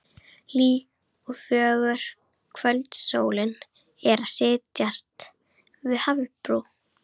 Hlý og fögur kvöldsólin er að setjast við hafsbrún.